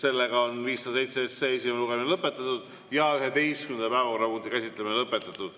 Eelnõu 507 esimene lugemine on lõpetatud ja 11. päevakorrapunkti käsitlemine lõpetatud.